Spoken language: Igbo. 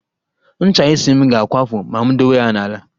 Ncha isi m ga-akwafu ma m dowe ya n'ala